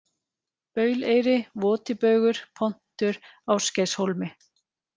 Bauleyri, Votibaugur, Pontur, Ásgeirshólmi